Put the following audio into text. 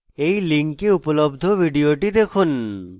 এই link উপলব্ধ video দেখুন